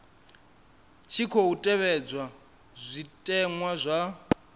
tshi khou tevhedzwa zwitenwa zwa